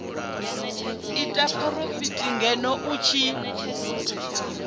ite phurofiti ngeno i tshi